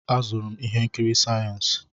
Azụrụ m ihe nkiri sayensị.